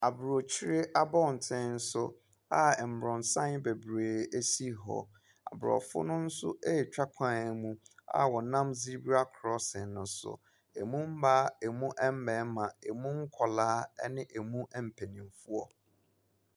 Abrokyire abɔtenso a mmrɔnsan beree si hɔ. Abrɔfo no nso retwa kwan mu a wɔnam zibra cossing no so. Emu maa, emu mmarima, emu nkwaraa ne emu mpanimfoɔ.